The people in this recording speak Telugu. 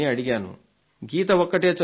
భగవద్గీత ఒక్కటే చదువుతుందా